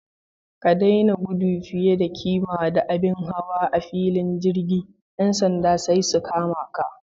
Ka daina gudu fiye da kima da abin hawa a filin jirgi. Yan sanda sai su kama ka.